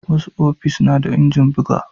Wasu ofis na da injin buga